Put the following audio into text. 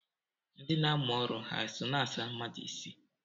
Ndị na-amụ ọrụ ha so na-asa mmadụ isi?